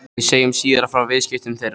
Við segjum síðar frá viðskiptum þeirra.